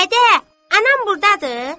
Dədə, anam burdadır!